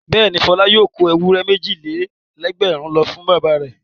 Bẹ́ẹ̀ni, Fọlá yóò kó ewúrẹ́ méjì-lé-lẹ́gbẹ̀rún lọ fún bàbá rẹ̀.